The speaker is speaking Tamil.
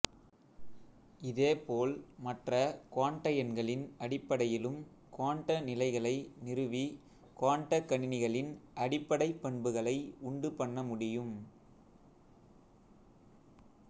இதே போல் மற்ற குவாண்ட எண்களின் அடிப்படையிலும் குவாண்ட நிலைகளை நிறுவி குவாண்டக்கணினிகளின் அடிப்படைப் பண்புகளை உண்டு பண்ண முடியும்